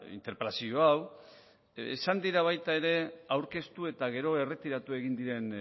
interpelazio hau izan dira baita ere aurkeztu eta gero erretiratu egin diren